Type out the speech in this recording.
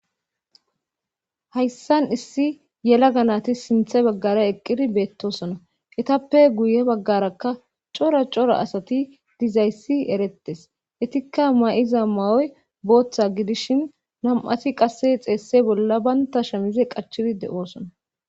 hayssan issi yela ganati sinthe baggara eqqidi beettosona etappe guye baggarakka cora cora asati dizayssi eretes etikka ma7iza ma7oy booththa gidishin nam7ati qasse xeesse bolla banta shamize qachidi de7oosona